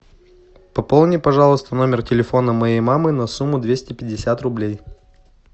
пополни пожалуйста номер телефона моей мамы на сумму двести пятьдесят рублей